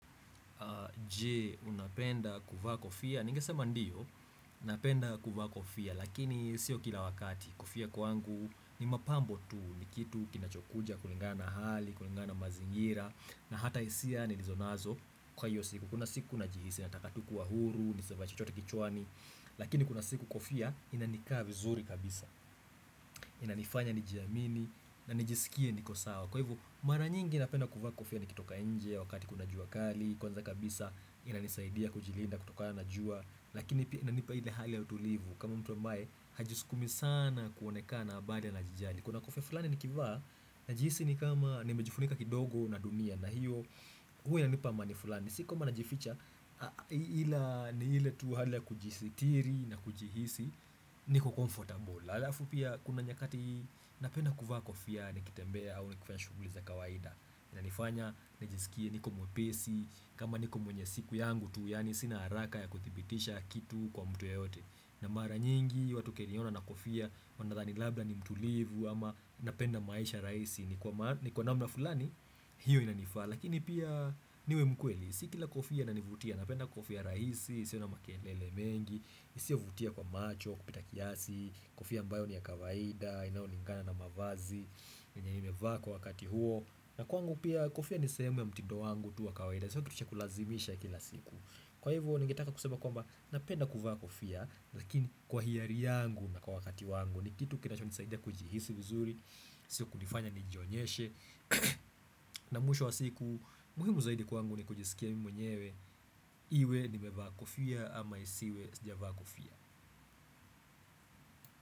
Je, unapenda kuvaa kofia Ningesema ndiyo napenda kuvaa kofia Lakini sio kila wakati Kofia kwangu ni mapambo tu ni kitu kinachokuja kulingana na hali kulingana na mazingira na hata hisia nilizonazo Kwa hiyo siku Kuna siku najihisi Natakatu kuwa huru Nisivae chochote kichwani Lakini kuna siku kofia Inanikaa vizuri kabisa Inanifanya nijiamini na nijisikie niko sawa Kwa hivo mara nyingi napenda kuvaa kofia Nikitoka inje Wakati kuna jua kali Kwanza kabisa inanisaidia kujilinda kutokana na jua lakini pia inanipa ile hali ya utulivu kama mtu ambae hajiskumi sanaa kuonekana bali anajijali kuna kofia fulani nikivaa najihisi ni kama nimejifunika kidogo na dunia na hiyo huwa inanipa amani fulani si kwamba najificha ila ni ile tu hali ya kujisitiri na kujihisi niko comfortable alafu pia kuna nyakati napenda kuvaa kofia nikitembea au nikiwa shuguli za kawaida inanifanya nijisikie niko mwepesi kama niko mwenye siku yangu tu, yani sina haraka ya kuthibitisha kitu kwa mtu yoyote na mara nyingi, watu wakiniona na kofia, wanadhani labla ni mtulivu ama napenda maisha raisi ni kwa namna fulani, hiyo inanifa, lakini pia niwe mkweli Si kila kofia inanivutia, napenda kofia raisi, isio na makelele mengi isia vutia kwa macho, kupita kiasi, kofia ambayo ni ya kawaida, inao onekana na mavazi yenye nimevaa kwa wakati huo na kwangu pia kofia ni sehemu ya mtindo wangu tu wa kawaida Sio kitu cha kulazimisha kila siku Kwa hivyo ningetaka kusema kwamba Napenda kuvaa kofia Lakini kwa hiari yangu na kwa wakati wangu ni kitu kinachonisaida kujihisi vizuri Sio kunifanya nijionyeshe na mwisho wa siku muhimu zaidi kwangu ni kujisikia mwenyewe Iwe nimevaa kofia ama isiwe sijavaa kofia.